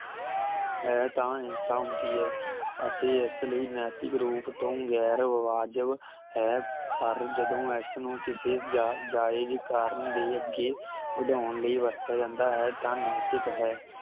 ਹੈ ਤਾਂ ਹਿੰਸਾ ਹੁੰਦੀ ਹੈ ਅਤੇ ਇਸਲਈ ਨੈਤਿਕ ਰੂਪ ਵਿਚ ਗੈਰ ਵਿਵਾਜਿਬ ਹੈ ਪਰ ਜਦੋਂ ਇਸਨੂੰ ਕਿਸੇ ਜਾ ਜਾਏ ਦੇ ਕਾਰਨ ਦੇ ਅੱਗੇ ਵਧਾਉਣ ਲਈ ਵਰਤਿਆ ਜਾਂਦਾ ਹੈ ਤਾਂ ਨੈਤਿਕ ਹੈ